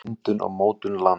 myndun og mótun lands